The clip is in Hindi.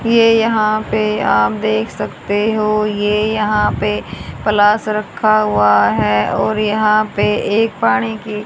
ये यहां पे आप देख सकते हो ये यहां पे प्लास रखा हुआ हैं और यहां पे एक पानी की--